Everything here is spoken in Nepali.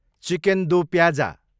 chicken do pyaza